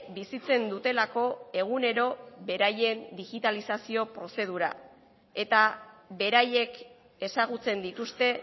bizitzen dutelako egunero beraien digitalizazio prozedura eta beraiek ezagutzen dituzte